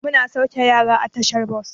Mun sauke yaran a tashar bas.